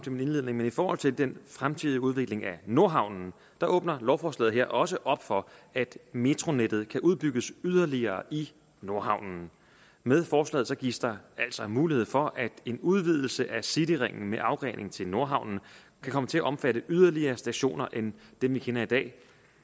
men i forhold til den fremtidige udvikling af nordhavnen åbner lovforslaget også op for at metronettet kan udbygges yderligere i nordhavnen med forslaget gives der altså en mulighed for at en udvidelse af cityringen med afgrening til nordhavnen kan komme til at omfatte yderligere stationer end dem vi kender i dag